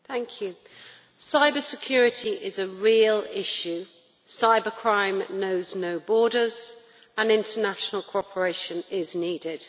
Madam President, cyber security is a real issue. Cyber crime knows no borders and international cooperation is needed.